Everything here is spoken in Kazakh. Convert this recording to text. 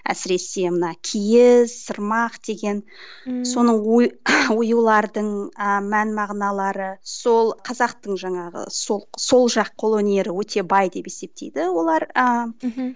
әсіресі мына киіз сырмақ деген ммм соның оюлардың ы мән мағыналары сол қазақтың жаңағы сол сол жақ қол өнері өте бай деп есептейді олар ыыы мхм